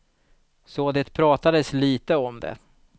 Så det pratades lite om det.